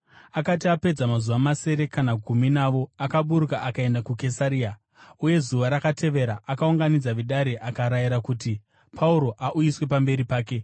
Akati apedza mazuva masere kana gumi navo, akaburuka akaenda kuKesaria, uye zuva rakatevera akaunganidza vedare akarayira kuti Pauro auyiswe pamberi pake.